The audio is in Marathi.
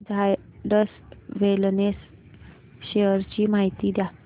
झायडस वेलनेस शेअर्स ची माहिती द्या